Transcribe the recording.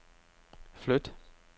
flyt